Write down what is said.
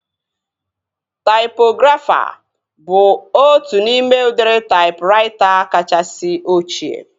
Taipografa bụ otu n'ime udiri taipraita kachasị ochie